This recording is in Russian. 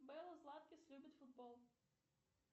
белла златкис любит футбол